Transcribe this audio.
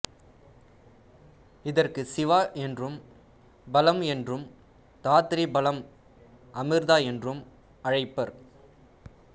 இதற்குச் சிவா என்றும் பலம் என்றும் தாத்ரீ பலம் அமிர்தா என்றும் அழைப்பர்